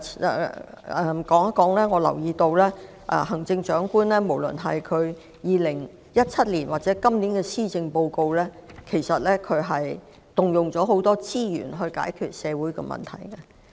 另一方面，我留意到無論是在2017年或今年的施政報告中，行政長官均動用了很多資源來解決社會問題。